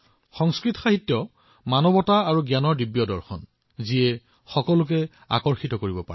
সংস্কৃত সাহিত্যত মানৱতা আৰু জ্ঞানৰ এনে এক ঐশ্বৰিক দৰ্শন আছে যি যিকোনো লোকক আকৰ্ষিত কৰিব পাৰে